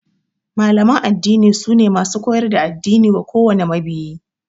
Malaman addini sune masu koyar da addini wa kowane mabiyi